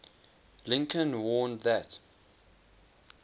lincoln warned that